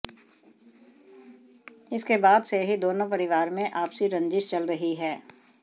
इसके बाद से ही दोनों परिवार में आपसी रंजिश चल रही है